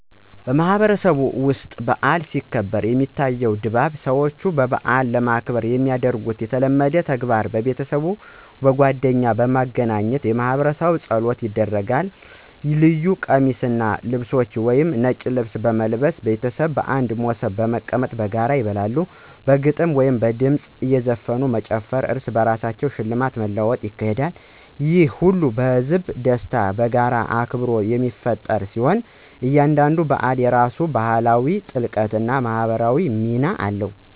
በማህበረሰቤ ውስጥ በዓል ሲከበር፣ የሚታየው ድባብ ሰዎች በዓልን ለማክበር የሚያደርጉት የተለመዱ ተግባራት ቤተሰቦች እና ጓደኞች በማግኘት የማህበረሰብ ጸሎቶች ይደረጋል ልዩ ቀሚሶችን ወይም ልብሶችን ምሳሌ፦ እንደ ነጭ ልብስ በመልበስ ቤተሰቦች በአንድ ሞሰብ በመቀመጥ በጋራ ይበላሉ በግጥሞች እና በድምፅ ዘፈኖች እዘፈኑ መጨፈር እርስ በርስ ሽልማት መለዋወጥ ይካሄዳል። ይህ ሁሉ ህዝባዊ ደስታን እና የጋራ አክብሮትን የሚፈጥር ሲሆን፣ እያንዳንዱ በዓል የራሱ ባህላዊ ጥልቀት እና ማህበራዊ ሚና አለው።